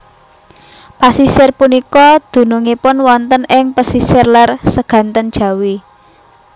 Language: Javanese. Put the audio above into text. Pasisir punika dunungipun wonten ing pesisir lèr Seganten Jawi